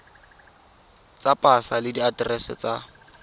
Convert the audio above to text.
tsa pasa le diaterese tsa